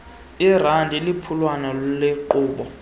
lrad liphulwana lenkqubo